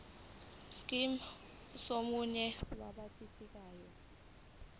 scheme somunye wabathintekayo